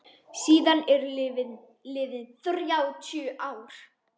Síðan eru liðin þrjátíu ár.